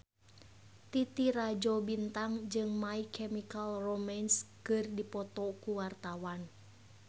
Titi Rajo Bintang jeung My Chemical Romance keur dipoto ku wartawan